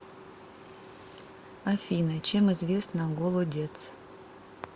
афина чем известна голодец